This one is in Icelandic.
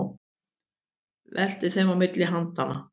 Veltir þeim á milli handanna.